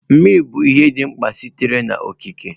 Mmiri bụ ihe dị mkpa sitere n'okike.